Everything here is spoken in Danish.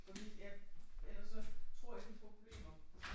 Fordi at ellers så tror jeg vi får problemer